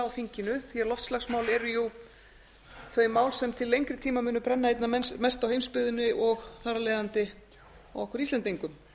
þinginu því að loftslagsmál eru jú þau mál sem til lengri tíma munu brenna einna mest á heimsbyggðinni og þar af leiðandi okkur íslendingum